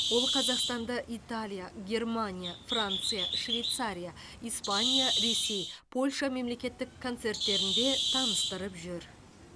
ол қазақстанды италия германия франция швейцария испания ресей польша мемлекеттік концерттерінде таныстырып жүр